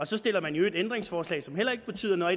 så stiller man i øvrigt ændringsforslag som heller ikke betyder noget